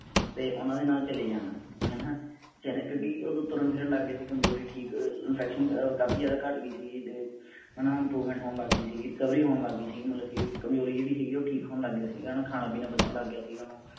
ਤੇ ਓਹਨਾ ਦੇ ਨਾਲ ਚਲੇ ਜਾਣਾ ਹੈਨਾ ਕਿਉਂਕਿ ਉਦੋਂ ਤੁਰਨ ਫਿਰਨ ਲੱਗ ਗਿਆ ਸੀਗਾ ਕਮਜ਼ੋਰੀ ਠੀਕ infection ਕਾਫੀ ਜ਼ਿਆਦਾ ਘਟ ਗਈ ਸੀ ਤੇ ਹੈਨਾ improvement ਹੋਣ ਲੱਗ ਗਈ ਸੀ। recovery ਹੋਣ ਲੱਗ ਗਈ ਸੀਗੀ। ਮਤਲਬ ਕਿ ਕਮਜ਼ੋਰੀ ਜਿਹੜੀ ਸੀਗੀ ਉਹ ਠੀਕ ਹੋਣ ਲੱਗ ਗਿਆ ਸੀਗਾ ਹੋਣ। ਖਾਣਾ ਪੀਣਾ ਪਚਣ ਲੱਗ ਗਿਆ ਸੀਗਾ ਓਹਨੂੰ।